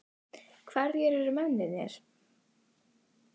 Hverjir eru mennirnir?